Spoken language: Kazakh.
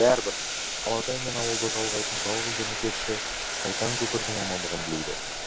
бәрібір алатай мен ауылды жалғайтын жалғыз дәнекерші сайтан көпірдің амандығын тілейді